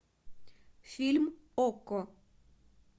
фильм окко